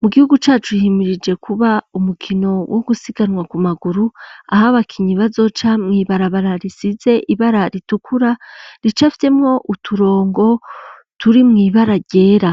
Mu gihugu cacu himirije kuba umukino wo gusiganwa ku maguru aho abakinnyi bazoca mw'ibarabara risize ibara ritukura rica fitemo uturongo turi mw'ibara ryera